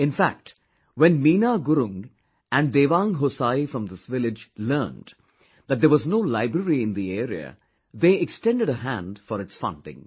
In fact, when Meena Gurung and Dewang Hosayi from this village learnt that there was no library in the area they extended a hand for its funding